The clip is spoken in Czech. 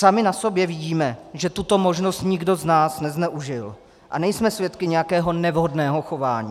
Sami na sobě vidíme, že tuto možnost nikdo z nás nezneužil, a nejsme svědky nějakého nevhodného chování.